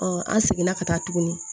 an seginna ka taa tuguni